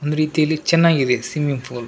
ಒಂದ್ ರೀತಿಯಲ್ಲಿ ಚೆನ್ನಾಗಿದೆ ಸ್ವಿಮ್ಮಿಂಗ್ ಪೂಲ್ .